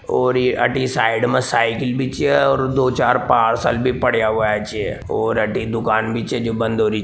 और ये अठी साइड में साइकिल बी छे और दो चार पार्सल बी पड्या हुए छे और दूकान बी चे जो बंद हो रही --